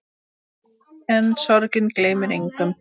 En sorgin gleymir engum.